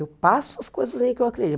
Eu passo as coisas em que eu acredito.